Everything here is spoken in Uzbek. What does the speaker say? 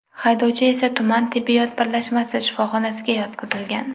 Haydovchi esa tuman tibbiyot birlashmasi shifoxonasiga yotqizilgan.